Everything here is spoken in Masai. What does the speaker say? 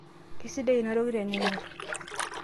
keisidai ina toki teningorr